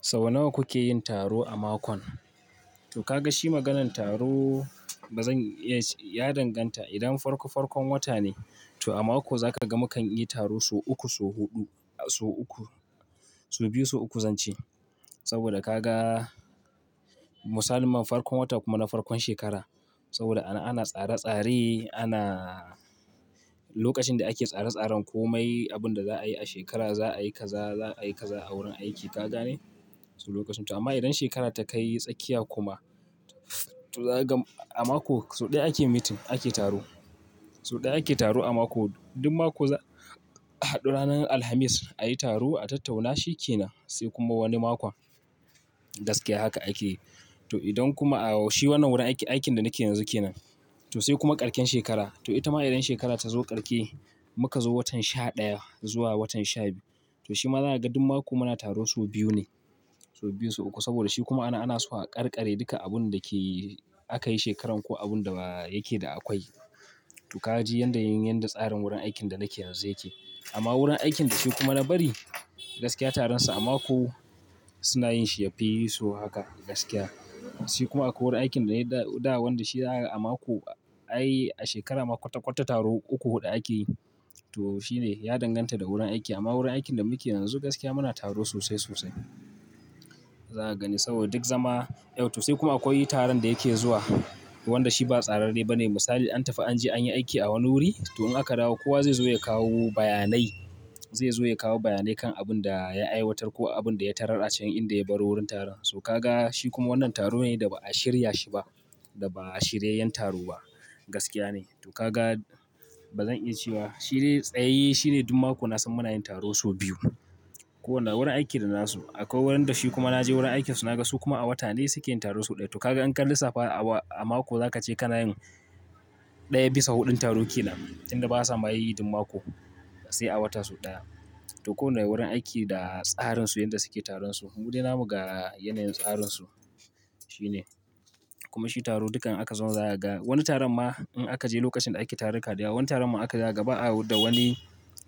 Sau nawa kuke yin taro a mako? To ka ga shi maganan taro bazan iya ce Ya danganta idan farko farkon wata ne, to a mako za ka ga mu kan yi taro sau uku, sau huɗu, sau uku, sau biyu sau uku zan ce. Saboda ka ga musalinma farkon wata kuma na farkon shekara. Saboda ana tsare-tsare ana lokacin da ake tsare-tsaren komai, abin da za a yi a shekara, za a yi kaza, za a yi kaza a wurin aiki ka gane? To lokacin. To amma idan shekara ta kai tsakiya kuma, to za ka ga a mako sau ɗaya ake meeting, ake taro. Sau ɗaya ake taro a mako. Duk mako za, ranar Alhamis a yi taro a tattauna shi ke nan. Sai kuma wani makon gaskiya haka ake yi. To idan kuma a shi wannan wurin aiki, aikin da nake yanzu ke nan. To sai kuma karshen shekara. To ita ma idan shekara ta zo karshe, muka zo watan sha ɗaya zuwa watan sha biyu. To shi ma zaka ga duk mako muna taro sau biyu ne. Sau biyu sau uku saboda shi kuma anan, ana so a ƙarƙare duka abun da ke aka yi shekaran ko abun da yake da akwai. To ka ji yadda yin, yadda tsarin wurin aikin da nake yanzu yake. Amma wurin aikin da shi kuma na bari gaskiya taronsa a mako suna yin shi yafi so haka gaskiya. Sai kuma akwai wani aikin da dai da wanda shi a mako ai a shekara ma kwata-kwata taro uku huɗu ake yi. To shi ne ya danganta da wurin aiki. Amma wurin aikin da muke yanzu gaskiya muna taro sosai sosai. Za ka gani saboda duk zama, eh to sai kuma akwai taron da yake zuwa wanda shi ba tsararre ba ne. Misali an tafi an je an yi aiki a wani wuri. To in aka dawo kowa zai zo ya kawo bayanai, zai zo ya kawo bayanai kan abun da ya aiwatar ko abun da ya tarar a cikin inda ya baro wurin taron. So ka ga shi kuma wannan taro ne da ba a shirya shi ba, da ba shiryay yan taro ba gaskiya ne. To ka ga bazan iya cewa shi de tsayayye, shi ne duk mako na san muna yin taro sau biyu. Ko wanda wurin aiki da nasu. Akwai wurin da shi kuma na je wurin aikinsu na ga su kuma a wata ɗaya suke yin taro sau ɗaya. To ka ga inka lissafa a mako za ka ce kana yin ɗaya bisa huɗun taro kenan. Inda basa may duk mako sai a wata sau ɗaya. To ko wanda wurin aiki da tsarinsu yanda suke taronsu. Mude namu ga yanayin tsarinsu shi ne. Kuma shi taro dukkan aka zauna za ka ga wani taron ma in aka je lokacin da ake taruka da yawa, wani taron ma haka zakaga ba a da wani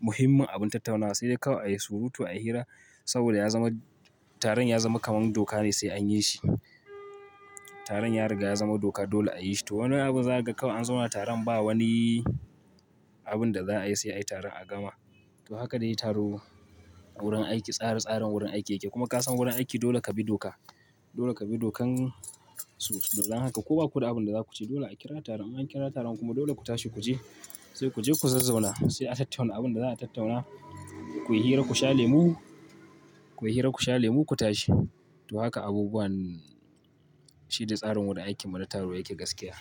muhimmin abun tattaunawa sai dai kawai a yi surutu a yi hira saboda ya zama taron ya zama kamar doka ne sai an yi shi. Taron ya riga ya zama doka dole a yi shi. To wani abun za ka ga kawai an zauna taron ba wani abun da za a yi sai a yi taron a gama. To haka dai taro a wurin aiki, tsari tsarin wurin aiki yake. Kuma ka san wurin aiki dole ka bi doka. Dole ka bi dokan su. Domin haka. Ko baku da abin da za ku ce dole a kira taron in an kira taron kuma dole ku tashi ku je. Sai ku je ku zazzauna sai a tattauna abun da za a tattauna. Ku yi hira ku sha lemu, ku yi hira ku sha lemu ku tashi. To haka abubuwan shi da tsarin wurin aikin mu na taro yake gaskiya.